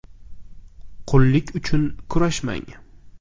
Qullik uchun kurashmang!